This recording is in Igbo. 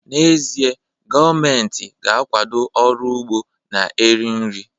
N'ezie, gọọmentị ga-akwado ọrụ ugbo na-eri nri